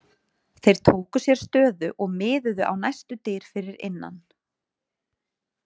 Þeir tóku sér stöðu og miðuðu á næstu dyr fyrir innan.